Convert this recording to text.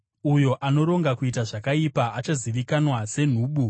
Uyo anoronga kuita zvakaipa achazivikanwa senhubu.